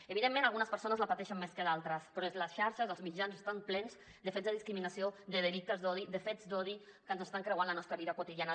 evidentment algunes persones la pateixen més que d’altres però és la xarxa són els mitjans que estan plens de fets de discriminació de delictes d’odi de fets d’odi que ens estan creuant la nostra vida quotidiana